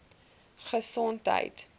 gesondheid